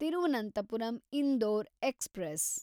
Thiruvananthapuram Indore express